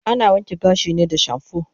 Ana wanke gashi ne da shampoo